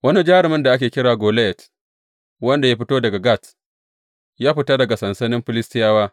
Wani jarumin da ake kira Goliyat wanda ya fito daga Gat, ya fita daga sansanin Filistiyawa.